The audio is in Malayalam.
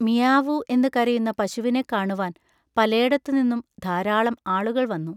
മിയാവൂ എന്ന് കരയുന്ന പശുവിനെ കാണുവാൻ പലേടത്തുനിന്നും ധാരാളം ആളുകൾ വന്നു.